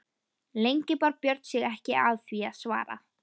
Lengi bar Björn sig ekki að því að svara.